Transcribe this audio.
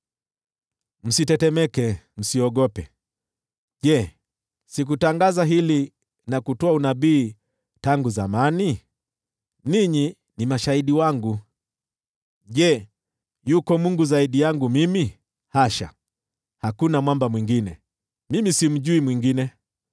Msitetemeke, msiogope. Je, sikutangaza hili, na kutoa unabii tangu zamani? Ninyi ni mashahidi wangu. Je, yuko Mungu zaidi yangu mimi? Hasha, hakuna Mwamba mwingine; mimi simjui mwingine.”